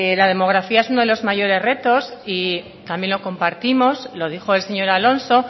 la demografía es uno de los mayores retos y también lo compartimos lo dijo el señor alonso